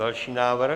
Další návrh.